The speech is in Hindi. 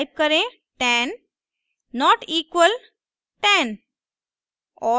टाइप करें 10 not equal 10